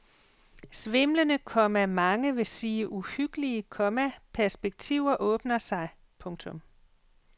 Svimlende, komma mange vil sige uhyggelige, komma perspektiver åbner sig. punktum